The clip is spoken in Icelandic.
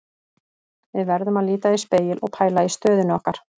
Við verðum að líta í spegil og pæla í stöðunni okkar.